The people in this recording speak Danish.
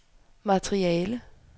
materiale